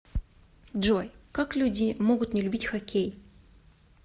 джой как люди могут не любить хоккей